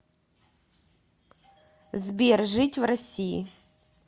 сбер жить в россии